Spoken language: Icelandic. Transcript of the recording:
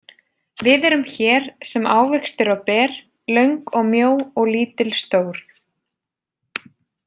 Við erum hér sem ávextir og ber, löng og mjó og lítil stór.